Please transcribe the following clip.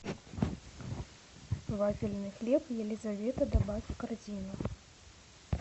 вафельный хлеб елизавета добавь в корзину